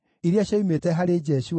na cia Zatu ciarĩ 945,